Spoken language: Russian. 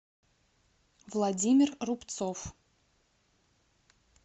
владимир рубцов